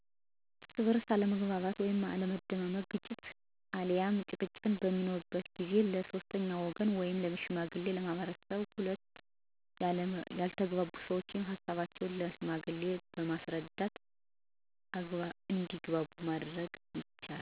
እርስ በእርስ አለመግባባት ወይም አለመደማመጥ ግጭት አልያም ጭቅጭቅ በሚኖር ጊዜ ለ ሶስተኛ ወገን ወይም ሽማግሌዎች በመሰብሰብ ሁለቱ ያልተግባቡ ሰዎች ሀሳቦቻቸውን ለ ሽማግሌዎች በማስረዳት እንዲግባቡ ማድረግ ይቻላል።